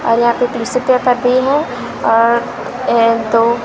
और यहाँ पे और ए दो--